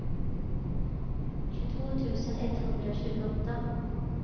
tjugotvå tusen etthundratjugoåtta